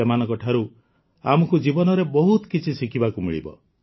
ସେମାନଙ୍କଠାରୁ ଆମକୁ ଜୀବନରେ ବହୁତ କିଛି ଶିଖିବାକୁ ମିଳିବ